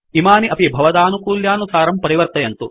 इमानि अपि भवदानुकूल्यानुसारं परिवर्तयन्तु